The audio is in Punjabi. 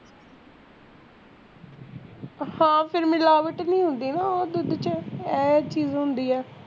ਹਾਂ ਫੇਰ ਮਿਲਾਵਟ ਵੀ ਹੁੰਦੀ ਨਾ ਓਹ ਦੁੱਧ ਚ ਆਹ ਚੀਜ਼ ਹੁੰਦੀ ਆ